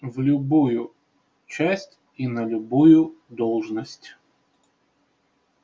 в любую часть и на любую должность